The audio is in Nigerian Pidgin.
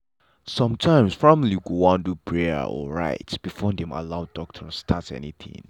sometimes family go wan do prayer or rites before dem allow doctor start anything.